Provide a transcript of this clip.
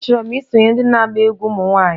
Achọrọ m isonyere ndị na-agba egwú ụmụ nwanyị